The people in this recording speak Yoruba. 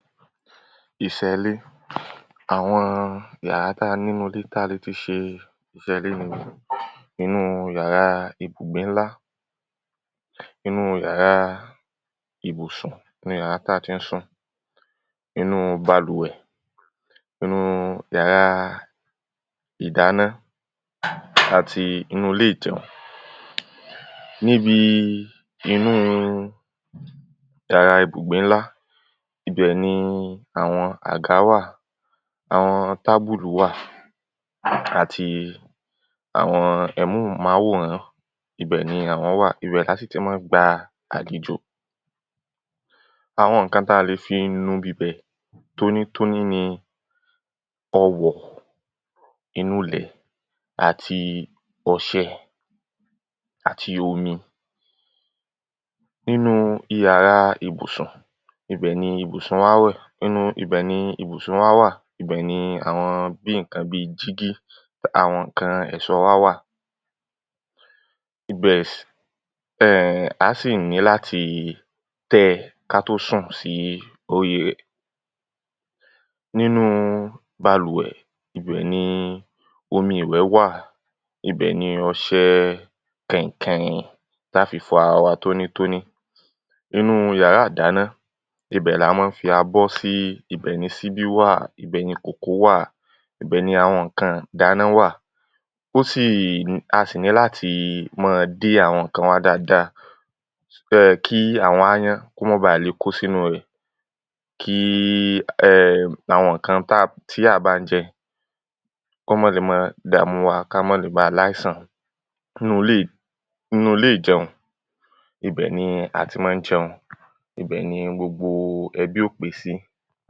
iṣẹ́ẹlé. àwọn yàrá tá ní núule ta le ṣe iṣẹ́ ilé ni; inúu yàráa ibùgbé ńlá, inúu yàráa ìbùsùn, inúu yàráa táa ti ń sùn, inúu balùwẹ̀, inúu yàráa ìdáná àti inúu ilé ìjẹun. níbi inúu yàráa ìbùgbé ńlá, ibì nii àwọn àgá wà, àwọn tábùlùú wà, àti àwọn ẹmóhùnmáwòrán, ibẹ̀ ni àwọn wà, ibẹ̀ látún ti mọ́n gba àlèjò. àwọn ǹkan ta le fí nu ibibẹ̀ tónítóní ni ọ̀wọ̀, ìnulẹ̀, àti ọṣẹ, àti omi. nínúu iyàráa ìbùsùn, ibẹ̀ ni ìbùsun wá wà, inú ibẹ̀ ni ìbùsun wá wà, ibẹ̀ ní àwọn bíi ǹkan bíi jígí, àwọn ǹkan ẹ̀ṣọ́ọ wá wà, ibẹ̀, um aá sì ní láti tẹ́ẹ ká tó sùn sí oríi rẹ̀. nínúu balùwẹ̀, ibẹ̀ ni omi ìwẹ́ wà, ibẹ̀ ni ọṣẹ kẹ̀hìnkẹ̀hìn taá fi fọ arawa tónítóní. inúu yàráa ìdáná, ibẹ̀ lamọ ń fi abọ́ sí, ibẹ̀ ni síbí wà, ibẹ̀ ni kókòó wà, ibẹ̀ ni àwọn ńkan ìdáná wà. ó sìì, a sì ní láti mọ́ọ dé àwọn ǹkan wa dáada kí àwọn aáyán kó mọ́ọ̀ baà le kó sínúu rẹ̀, kíí um àwọn ǹkan tí a bá ń jẹ kó mọ́ le mọ́ọ dàmúuwa ká mọ́ọ̀ le ba láìsàn. nínúulé nínúulé ìjẹun, ibẹ̀ ni a ti má ń jẹun, ibẹ̀ ni gbogbo ẹbí óò pé sí.